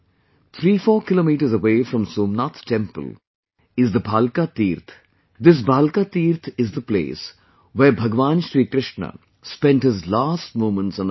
34 kilometers away from Somnath temple is the Bhalka Teerth, this Bhalka Teerth is the place where Bhagwan Shri Krishna spent his last moments on earth